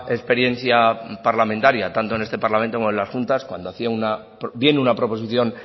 experiencia parlamentaria tanto en este parlamento como en las juntas cuando hacía bien una proposición